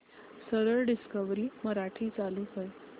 सरळ डिस्कवरी मराठी चालू कर